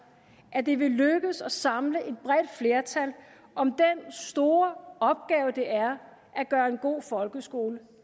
at det vil lykkes at samle et bredt flertal om den store opgave det er at gøre en god folkeskole